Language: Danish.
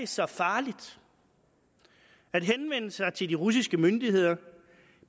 så farligt at henvende sig til de russiske myndigheder